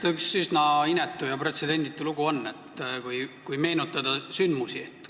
No eks ta üks üsna inetu ja pretsedenditu lugu ole, kui neid sündmusi meenutada.